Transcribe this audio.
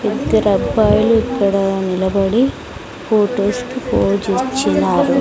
ఇద్దరు అబ్బాయిలు ఇక్కడ నిలబడి ఫొటోస్ కి పొసే ఇచ్చినారు.